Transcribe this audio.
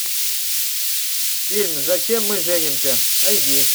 фильм зачем мы женимся найди